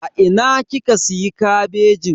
A ina kika siya kabejin?